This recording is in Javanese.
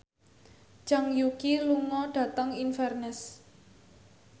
Zhang Yuqi lunga dhateng Inverness